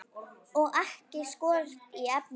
Og ekki skorti efni.